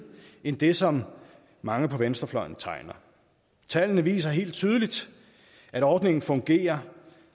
end det som mange på venstrefløjen tegner tallene viser helt tydeligt at ordningen fungerer